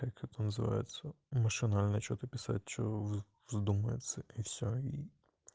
как это называется машинально что-то писать что в вздумается и всё и